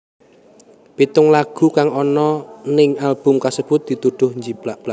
Pitung lagu kang ana ning album kasebut dituduh njiplak